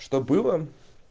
что было